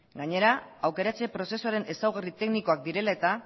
gainera aukeratze prozesuaren ezaugarri teknikoak direla eta